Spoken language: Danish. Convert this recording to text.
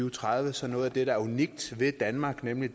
og tredive så noget af det der er unikt ved danmark nemlig